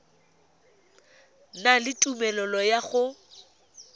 na le tumelelo ya go